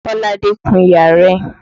Kọ́ládé kun iyàrá rẹ̀.